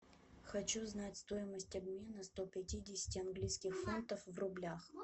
хочу знать стоимость обмена сто пятидесяти английских фунтов в рублях